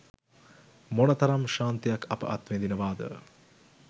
මොනතරම් ශාන්තියක් අප අත්විඳිනවාද?